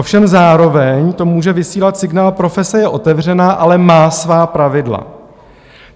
Ovšem zároveň to může vysílat signál: profese je otevřená, ale má svá pravidla.